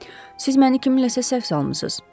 Siz məni kiminləsə səhv salmısız?